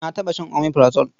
Na taɓa shan omeprazole.